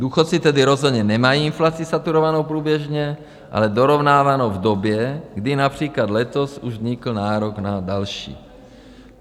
Důchodci tedy rozhodně nemají inflaci saturovanou průběžně, ale dorovnávanou v době, kdy například letos už vznikl nárok na další.